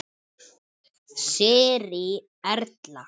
Sirrý Erla.